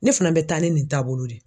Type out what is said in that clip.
Ne fana bɛ taa ni nin taabolo de ye.